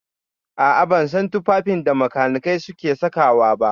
A'a, ban san tufafin da makanikai suke saka wa ba.